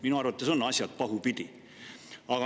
Minu arvates on asjad pahupidi.